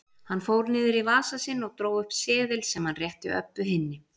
Hann fór niður í vasa sinn og dró upp seðil sem hann rétti Öbbu hinni.